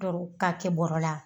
k'a kɛ bɔrɛ la